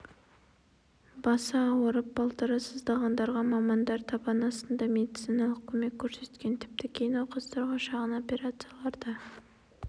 басы ауырып балтыры сыздағандарға мамандар табан астында медициналық көмек көрсеткен тіпті кей науқастарға шағын операциялар да